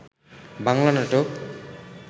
বাংলা নাটক